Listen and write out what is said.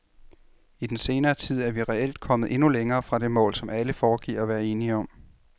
I den senere tid er vi reelt kommet endnu længere fra det mål, alle foregiver at være enige om.